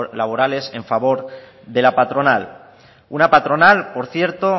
laborales a favor de la patronal una patronal por cierto